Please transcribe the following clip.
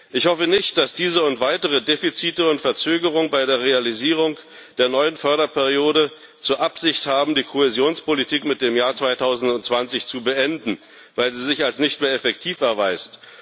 Ich hoffe nicht, dass diese und weitere Defizite und Verzögerungen bei der Realisierung der neuen Förderperiode zur Absicht haben, die Kohäsionspolitik mit dem Jahr 2020 zu beenden, weil sie sich als nicht mehr effektiv erweist.